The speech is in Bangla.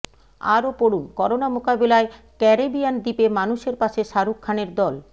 আরও পড়ুনঃকরোনা মোকাবিলায় ক্যারেবিয়ান দ্বীপে মানুষের পাশে শাহরুখ খানের দল